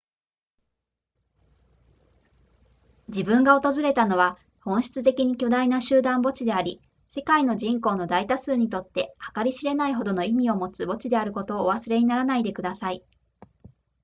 自分が訪れたのは本質的に巨大な集団墓地であり世界の人口の大多数にとって計り知れないほどの意味を持つ墓地であることをお忘れにならないでください